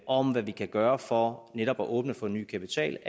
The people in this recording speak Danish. om hvad vi kan gøre for netop at åbne for ny kapital